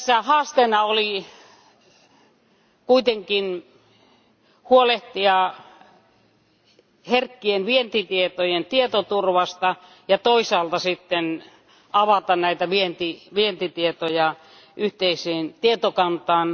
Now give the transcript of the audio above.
Haasteena oli kuitenkin huolehtia herkkien vientitietojen tietoturvasta ja toisaalta sitten avata näitä vientitietoja yhteiseen tietokantaan.